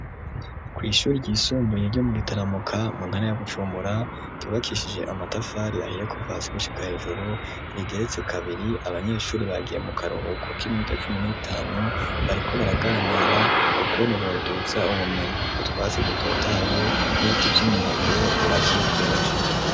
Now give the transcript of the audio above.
Kw'ishuri ryisumbuye ryo mu gitaramuka muntara ya gucumura tubakishije amatafari yahiye kuvasi gushika hejuru rigeretse kabiri abanyeshuri bagiye mu karuhuko k'iminuta pcumi n'itanu bariko baraganira kukwene boduza ubumenyi butwasi dutotaye n'ibiti vy' umembe bibakikuje.